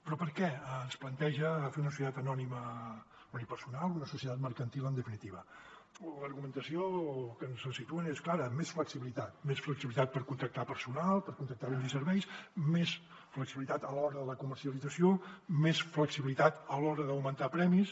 però per què ens planteja fer una societat anònima unipersonal una societat mercantil en definitiva l’argumentació que ens situen és clara més flexibilitat més flexibilitat per contractar personal per contractar béns i serveis més flexibilitat a l’hora de la comercialització més flexibilitat a l’hora d’augmentar premis